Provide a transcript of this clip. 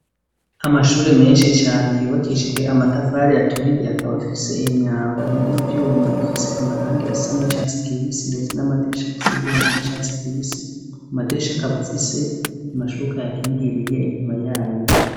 Amashuri menshi cane yubakishije amatafari aturiye akaba afise imyango y'ivyuma ifise amarangi asa n'icatsi kibisi ndetse n'amadirisha afise ivyuma asa n'icatsi kibisi amadirisha akaba afise amashuka ayakingiriye inyuma yayo.